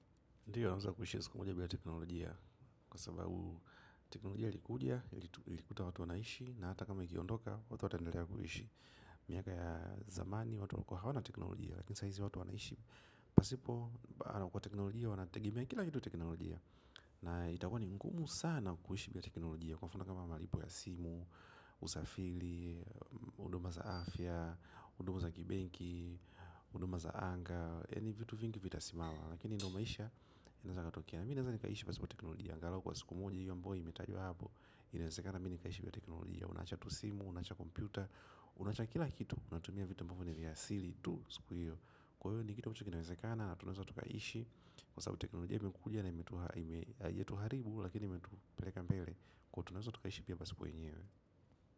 Ndiyo, naeza kuishi ya siku moja bira teknolojia. Kwa sababu, teknolojia likikuja, lilikuta watu wanaishi. Na hata kama ikiondoka, watu wataendelea kuishi. Miaka ya zamani watu walikuwa hawana teknolojia lakini saizi watu pasipo, kwa teknolojia wanategemea kila kitu teknolojia. Na itakuwa ni ngumu sana kuishi bila teknolojia. Kwa mfuno kama maripu ya simu, usafili, huduma za afya, huduma za kibenki, huduma za anga. Ni vitu vingi vitasimama, lakini ndio maisha inaeza katokea. Mi naeza nikaisha pasipo teknolojia. Angalau kwa siku moja oi imetajwa hapo, inawezakana mi nikaishi bila teknolojia. Unaacha tu simu, unaacha kompyuta, unaacha kila kitu. Unatumia vitu ambavyo ni vya asili tu siku hiyo. Kwa hivyo ni kitu ambacho kina wezekana tunaeza tu kaishi. Kwa sababu teknolojia imekuja yetu haribu lakini metupeleka mbele. Kwa tunaeza tu kaishi pia pasipo yenyewe.